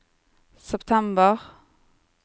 september